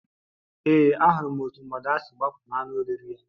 Ee, ahụrụ m otú mgbada si gbapụ n'anụ oriri ya